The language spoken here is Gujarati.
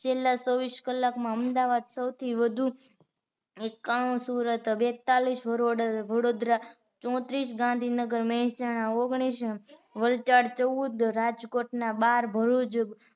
છેલ્લા ચોવીસ કલાક અમદાવાદ સૌથી વધુ એકાણું સુરત બેતાલીસ, વડોદરા ચોત્રીસ, ગાંધીનગર મેંસાણા ઓગણીસ, વલસાડ ચૌદ, રાજકોટના બાર, ભરૂચ